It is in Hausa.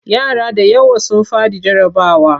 Yara da yawa sun faɗi jarrabawa.